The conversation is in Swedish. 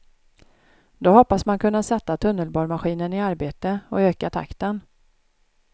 Då hoppas man kunna sätta tunnelborrmaskinen i arbete och öka takten.